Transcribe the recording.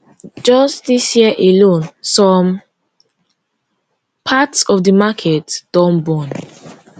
just dis year alone some parts of di market don burn